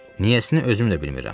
Niyəsini özüm də bilmirəm.